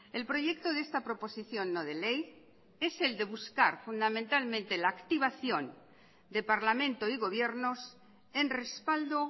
el proyecto de esta proposición no de ley es el de buscar fundamentalmente la activación de parlamento y gobiernos en respaldo